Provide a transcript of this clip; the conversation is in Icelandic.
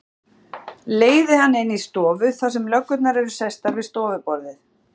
Leiði hana inn í stofu þar sem löggurnar eru sestar við stofuborðið.